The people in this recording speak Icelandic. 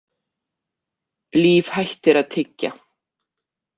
Líf hættir að tyggja.